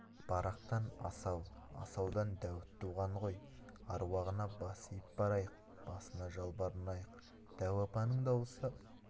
барақтан асау асаудан дәуіт туған ғой аруағына бас иіп барайық басына жалбарынайық дәу апаның дауысы